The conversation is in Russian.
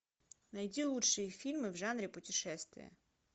найти лучшие фильмы в жанре путешествия